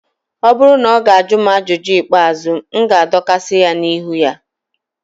ọ bụrụ na ọ ga-ajụ m ajụjụ ikpeazụ, m ga-adọkasị ya n'ihu ha